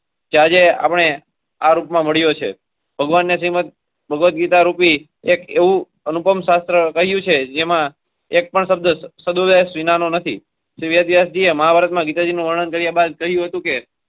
કે આજે આપણે આ રૂપ માં મળ્યો છે ભગવાન ને શ્રીમંતભાગવત ગીતા રૂપી એક એવું અનુપમ શાસ્ત્ર કહ્યું છે જેમાં એકપણ શબ્દ સદોવ્યાસ વિના નું નથી વેદવ્યાછે મહાભારત માં ગીતા જી નું વર્ણન કર્યા બાદ કહ્યું હતું કે